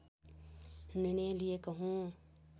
निर्णय लिएको हुँ